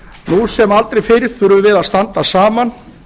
nú sem aldrei fyrr þurfum við að standa saman